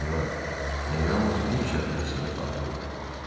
Siniora, mən yalnız bir şərtlə sizə tabe olaram.